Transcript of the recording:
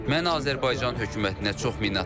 Mən Azərbaycan hökumətinə çox minnətdaram.